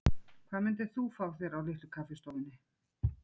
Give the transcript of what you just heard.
Hvað myndir þú fá þér á Litlu kaffistofunni?